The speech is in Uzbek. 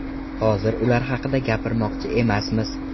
Hozir ular haqida gapirmoqchi emasmiz.